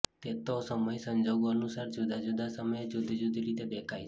તે તો સમય સંજોગો અનુસાર જુદા જુદા સમયે જુદી જુદી રીતે દેખાય છે